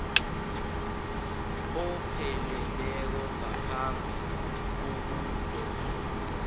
opheleleko ngaphambi kokudoswa